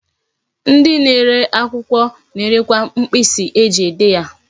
Ndi na-ere akwukwo na-erekwa mkpisi eji ede ihe.